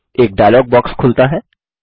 एक dialog box खुलता है